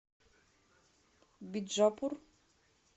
биджапур